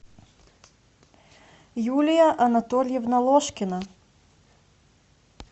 юлия анатольевна ложкина